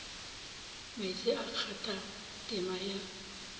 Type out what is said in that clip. meetse a kgatha tema ye